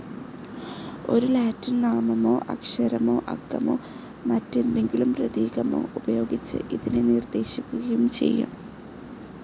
ഒരു ലാറ്റിൻ നാമമോ അക്ഷരമോ അക്കമോ മറ്റെന്തെങ്കിലും പ്രതീകമോ ഉപയോഗിച്ച് ഇതിനെ നിർദ്ദേശിക്കുകയും ചെയ്യാം.